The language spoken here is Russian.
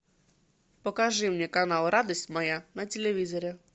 покажи мне канал радость моя на телевизоре